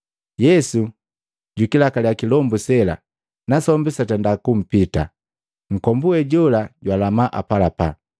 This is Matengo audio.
Yesu jukilakalia kilombu sela nasombi satenda kupita. Nunkombu wejola jwalama apalapa.